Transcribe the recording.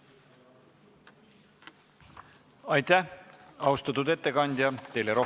Aitäh, austatud ettekandja!